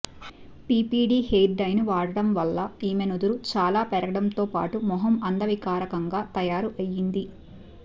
PPD hair డైను వాడటం వల్ల ఈమె నుదురు చాలా పెరగడంతో పాటు మొహం అందవికారంగా తయారు అయ్యింది